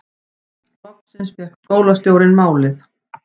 Loksins fékk skólastjórinn málið